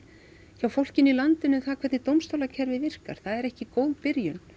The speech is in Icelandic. hjá fólkinu í landinu það hvernig dómstólakerfið virkar það er ekki góð byrjun